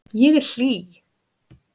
Ég er hlý.